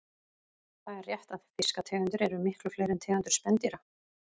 Það er rétt að fiskategundir eru miklu fleiri en tegundir spendýra.